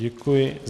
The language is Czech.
Děkuji.